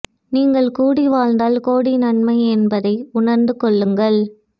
நீங்கள் கூடி வாழ்ந்தால் கோடி நன்மை என்பதை உணர்ந்து கொள்ளுங்கள்